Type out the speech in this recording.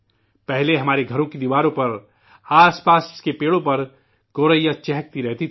پہلے ہمارے گھروں کی دیواروں میں، آس پاس کے پیڑوں پر گوریا چہکتی رہتی تھی